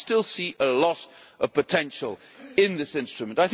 I still see a lot of potential in this instrument.